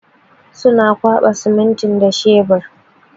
Suna kwaɓa siminti da shebur.